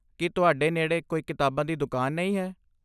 ਕੀ ਤੁਹਾਡੇ ਨੇੜੇ ਕੋਈ ਕਿਤਾਬਾਂ ਦੀ ਦੁਕਾਨ ਨਹੀਂ ਹੈ?